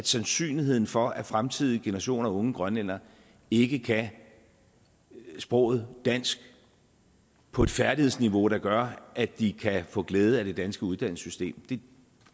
sandsynlighed for at fremtidige generationer af unge grønlændere ikke kan sproget dansk på et færdighedsniveau der gør at de kan få glæde af det danske uddannelsessystem det